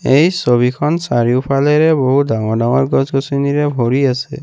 এই ছবিখন চাৰিওফালেৰে বহু ডাঙৰ-ডাঙৰ গছ-গছনিৰে ভৰি আছে।